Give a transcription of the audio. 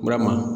Burama